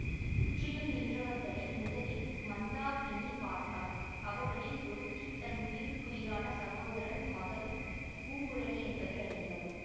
சுற்றிலும் நின்றவர்களை முதலில் மந்தாகினி பார்த்தாள் அவர்களில் ஒருத்தி தன் உயிருக்குயிரான சகோதரன் மகள் பூங்குழலி என்பதை அறிந்தாள்